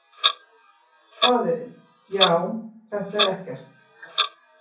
Faðirinn: Já, þetta er ekkert.